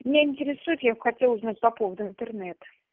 меня интересует я бы хотела узнать по поводу интернета